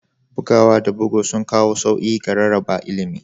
Bugawa da bugu sun kawo sauyi ga rarraba ilimi